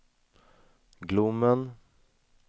Glommen